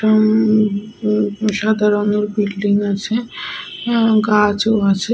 হুম সাদা রঙের বিল্ডিং আছে। অ্যা গাছও আছে।